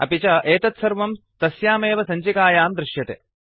अपि च एतत्सर्वं तस्यामेव सञ्चिकायां दृश्यते